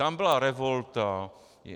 Tam byla revolta.